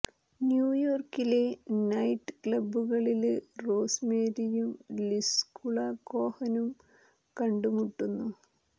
ന്യൂയോര്ക്കിലെ night ക്ലബ്ബുകളില് Rose മേരിയും Liskula കോഹനും കണ്ടു മുട്ടുന്നു